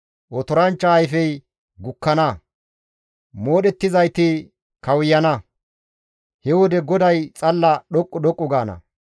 Otoranchcha ayfey gukkana; moodhettizayti kawuyana; he wode GODAY xalla dhoqqu dhoqqu gaana.